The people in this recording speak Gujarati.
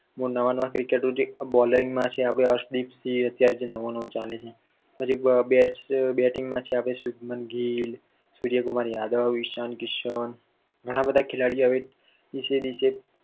નવા નવા cricketers છે હર્ષ દીપ સિંઘ અત્યારે જે નવો નવો ચાલે છે પછી bating માં છે શુભમાન ગીલ, સૂર્યકુમાર યાદવ, ઇશાન કિશન ઘણા બધા ખેલાડી હવે દિવસે ને દિવસે